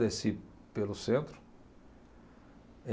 Desci pelo centro.